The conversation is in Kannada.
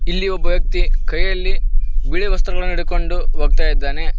ಹಇಲ್ಲಿ ಒಬ್ಬ ವ್ಯಕ್ತಿ ಕೈಯಲ್ಲಿ ಬಿಳಿ ವಸ್ತ್ರಗಳ ಹಿಡಿದುಕೊಂಡ ಹೋಗ್ತಾಇದ್ದಾನೆ.